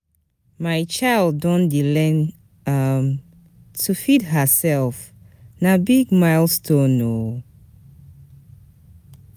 My child don dey learn um to feed hersef, na big milestone o.